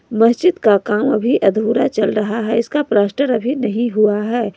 मस्जिद का काम अभी अधूरा चल रहा है इसका प्लास्टर अभी नहीं हुआ है।